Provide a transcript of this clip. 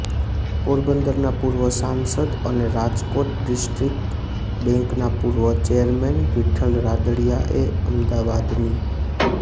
પોરબંદરના પૂર્વ સાંસદ અને રાજકોટ ડિસ્ટ્રીક્ટ બેંકના પૂર્વ ચેરમેન વિઠ્ઠલ રાદડિયાએ અમદાવાદની